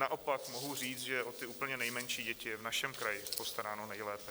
Naopak mohu říct, že o ty úplně nejmenší děti je v našem kraji postaráno nejlépe.